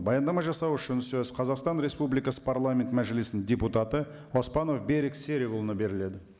баяндама жасау үшін сөз қазақстан республикасы парламент мәжілістің депутаты оспанов берік серікұлына беріледі